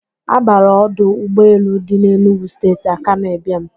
A bara ọdụ ụgbọ elu dị n'Enugwu Steeti Akanụ Ịbịam.